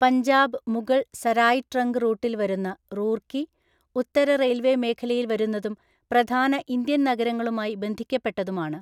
Punjab Mughal Sarai trunk റൂട്ടിൽ വരുന്ന റൂർക്കി, ഉത്തര റെയിൽവേ മേഖലയിൽ വരുന്നതും പ്രധാന ഇന്ത്യൻനഗരങ്ങളുമായി ബന്ധിക്കപ്പെട്ടതുമാണ്.